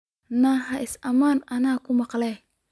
Nio, isaaman aan kumaqalnex.